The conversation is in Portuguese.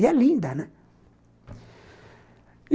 E é linda, né?